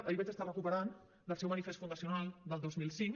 ahir vaig estar recuperant del seu manifest fundacional del dos mil cinc